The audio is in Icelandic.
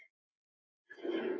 Uss, ekki gráta.